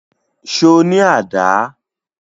Ṣo ní àdá?